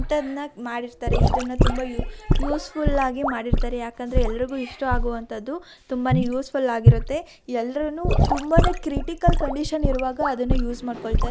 ಹಿಂತಾದ್ನ ಮಾಡಿರ್ತಾರೆ. ಇದನ್ನ ತುಂಬಾ ಯು ಯೂಸ್ಫುಲ್ ಆಗಿ ಮಾಡಿರ್ತಾರೆ. ಯಾಕಂದ್ರೆ ಎಲ್ಲ್ರುಗೂ ಇಷ್ಟಾ ಆಗುವಂತದ್ದು ತುಂಬಾನೇ ಯೂಸ್ಫುಲ್ ಆಗಿರುತ್ತೆ. ಎಲ್ಲ್ರುನೆ ತುಂಬಾನೇ ಕ್ರಿಟಿಕಲ್ ಕಂಡೀಶನ್ ಇರುವಾಗ ಅದನ್ನ ಉಸ್ ಮಾಡ್ಕೊಳ್ತಾರ್ --